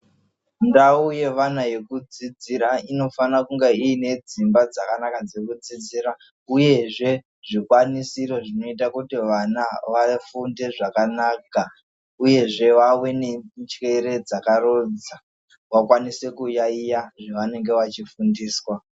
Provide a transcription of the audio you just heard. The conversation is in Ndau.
Ndau yevana yekudzidzira inofana kunge ine dzimba dzakanaka dzekudzidzira uyezve zvikwanisiro Zvinoita kuti vana vafunde zvakanaka uye zvevave nenjere dzakaronza vakwanise kuyaiya zvavanenge vachifundiswa.